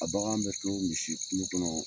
A bagan bɛ to misi kulu kɔnɔ